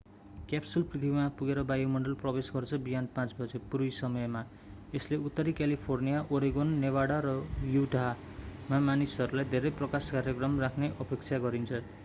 Capsule पृथ्वीमा पुगेर वायुमण्डलमा प्रवेश गर्छ बिहान 5 बजे पूर्वी समय मा यसले उत्तरी क्यालिफर्निया ओरेगन नेभादा र Utah northern california oregon nevada and utah मा मानिसहरूलाई धेरै प्रकाश कार्यक्रम राख्ने अपेक्षा गरिन्छ।